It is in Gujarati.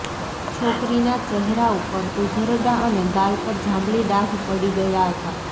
છોકરીના ચહેરા ઉપર ઉઝરડાં અને ગાલ પર જાંબલી ડાઘ પડી ગયા હતા